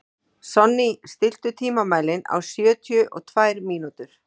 Sonný, stilltu tímamælinn á sjötíu og tvær mínútur.